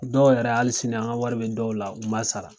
Dɔw yɛrɛ hali sini, an ka wari bɛ dɔw la, u m'a sara .